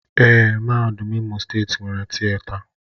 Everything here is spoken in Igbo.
Èé, Mahadum Imo steeti nwere Tịeta.